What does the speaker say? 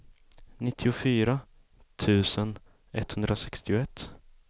nittiofyra tusen etthundrasextioett